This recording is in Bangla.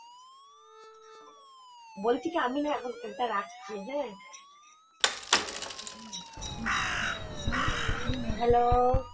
বলছি কি আমি না এখন phone টা রাখছি হ্যাঁ hello